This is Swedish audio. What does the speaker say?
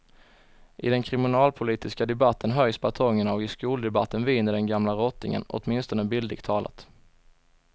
I den kriminalpolitiska debatten höjs batongerna och i skoldebatten viner den gamla rottingen, åtminstone bildligt talat.